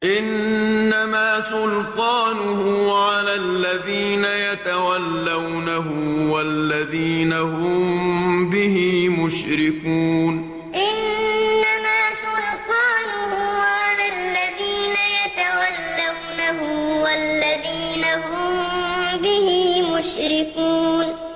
إِنَّمَا سُلْطَانُهُ عَلَى الَّذِينَ يَتَوَلَّوْنَهُ وَالَّذِينَ هُم بِهِ مُشْرِكُونَ إِنَّمَا سُلْطَانُهُ عَلَى الَّذِينَ يَتَوَلَّوْنَهُ وَالَّذِينَ هُم بِهِ مُشْرِكُونَ